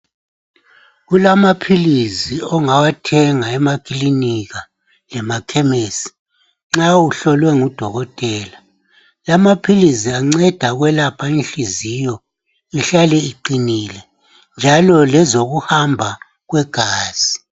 Kulama philisi ongawathenga emakilinika lema khemisi nxa uhlohlwe ngudokotela. Lama philisi anceda ukwelapha inhliziyo ihlale iqinile njalo lezokuhamba kwegazi.